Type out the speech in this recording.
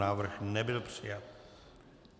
Návrh nebyl přijat.